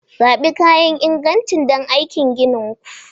Zaɓi kayan inganci don aikin ginin ku